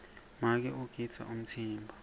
make ugidza umtsimba